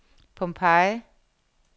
Pompeii